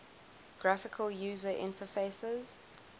graphical user interfaces